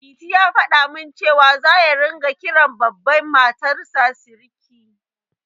Liti ya faɗa min cewa, za ya ringa kiran Baban Matarsa Siriki